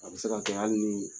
A bɛ se ka kɛ hali ni